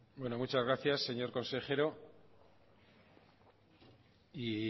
bueno muchas gracias señor consejero y